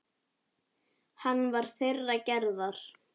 Hann var þeirrar gerðar.